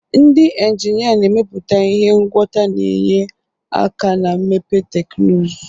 Ndị injinia na-emepụta ihe ngwọta na-enye aka na mmepe teknụzụ.